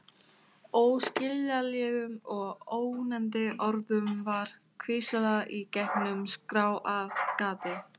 Óskiljanlegum og ógnandi orðum var hvíslað í gegnum skráargati.